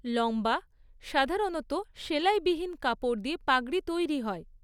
লম্বা, সাধারণত সেলাইবিহীন কাপড় দিয়ে পাগড়ি তৈরি হয়।